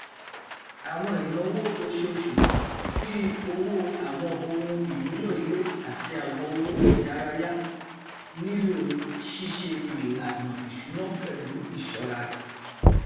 àwọn ináwó oṣooṣù bí owó àwọn ohun ìmúlò ilé àti àwọn owó ìdárayá nílò ṣíṣe ìlànà ìṣúná pẹlú ìṣọra